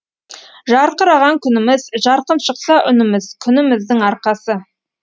жарқыраған күніміз жарқын шықса үніміз күніміздің арқасы